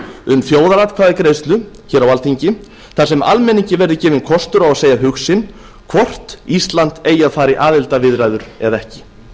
um þjóðaratkvæðagreiðslu hér á alþingi þar sem almenningi verður gefinn kostur á að segja hug sinn hvort ísland eigi að fara í aðildarviðræður eða ekki